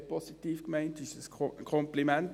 Das ist sehr positiv gemeint, das ist ein Kompliment.